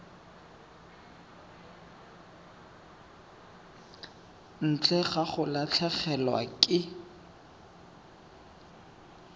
ntle ga go latlhegelwa ke